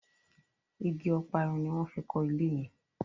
ìgi Ọparun ní wón fí kò ilé yen.